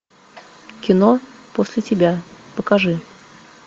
кино после тебя покажи